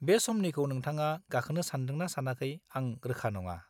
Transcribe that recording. बे समनिखौ नोंथाङा गाखोनो सानदोंना सानाखै आं रोखा नङा।